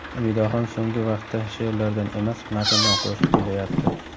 Umidaxon so‘nggi vaqtda she’rlardan emas, matndan qo‘shiq kuylayapti.